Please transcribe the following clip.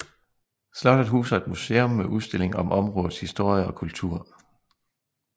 Slottet huser et museum med udstilling om områdets historie og kultur